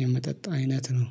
የመጠጥ አይነት ነው